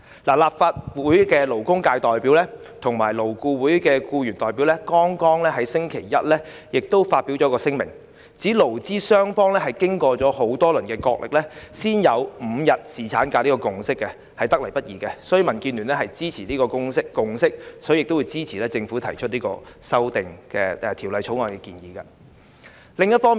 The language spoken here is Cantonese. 立法會的勞工界代表及勞顧會的僱員代表剛於星期一發表了一份聲明，指勞資雙方經多輪角力，才達成5天侍產假這個共識，得來不易，因此民建聯支持這項共識，亦會支持政府提出《條例草案》的建議。